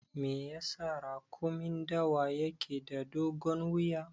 Me yasa raƙumin dawa yake da dogon wuya?